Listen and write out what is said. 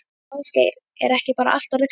Ásgeir, er ekki bara allt orðið klárt?